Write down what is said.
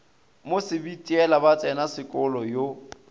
mo sebitiela ba tsenasekolo yo